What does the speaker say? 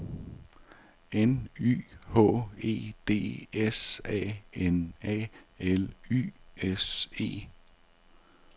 N Y H E D S A N A L Y S E